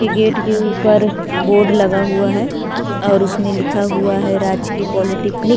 ये गेट के ऊपर बोर्ड लगा हुआ है और उसमें लिखा हुआ है राजकीय पॉलिटेक्निक --